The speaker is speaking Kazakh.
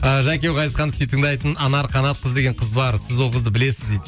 ааа жәке еу ғазизханды сүйіп тыңдайтын анар қанатқызы деген қыз бар сіз ол қызды білесіз дейді